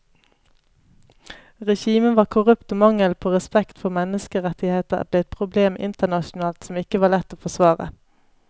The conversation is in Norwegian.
Regimet var korrupt og mangelen på respekt for menneskerettigheter ble et problem internasjonalt som ikke var lett å forsvare.